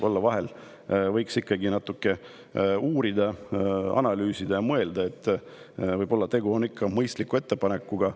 Vahel võiks natuke uurida, analüüsida ja mõelda, võib-olla on tegu ikkagi mõistliku ettepanekuga.